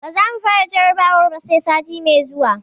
Ba za mu fara jarrabawar ba, sai sati mai zuwa.